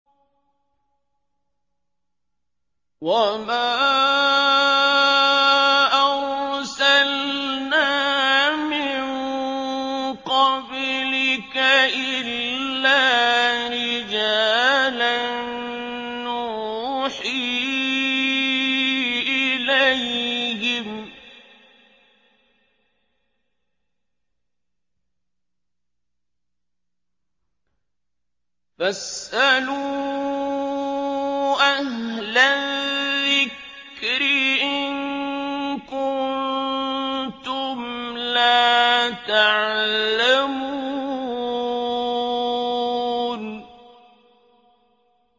وَمَا أَرْسَلْنَا مِن قَبْلِكَ إِلَّا رِجَالًا نُّوحِي إِلَيْهِمْ ۚ فَاسْأَلُوا أَهْلَ الذِّكْرِ إِن كُنتُمْ لَا تَعْلَمُونَ